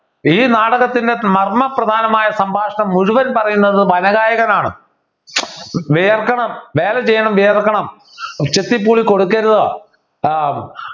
ഈ നാടകത്തിൻ്റെ മർമ്മപ്രധാനമായ സംഭാഷണം മുഴുവൻ പറയുന്നത് വനഗായകനാണ് വിയർക്കണം വേല ചെയ്യണം വിയർക്കണം ചെത്തി പൂളി കൊടുക്കരുത് ആഹ്